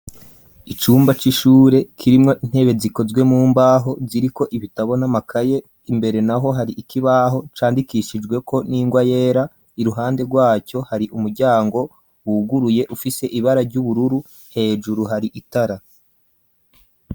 icumba c'ishure kirimwo intebe zikozwe mumbaho kiri ko ibitabo na makaye imbere naho hari ikibaho candikishijwe ko ningwa yera iruhande rwaco hari umuryango wuguruye ufise ibara ry'ubururu hejuru hari itara